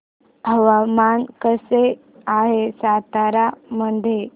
हवामान कसे आहे सातारा मध्ये